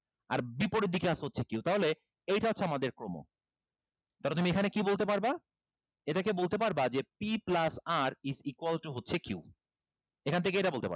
আর বিপরীত দিকে আছে হচ্ছে q তাহলে এইটা হচ্ছে আমাদের ক্রম ধরো তুমি এখানে কি বলতে পারবা এটাকে বলতে পারবা যে p plus r is equal to হচ্ছে q এখান থেকে এইটা বলতে পারবা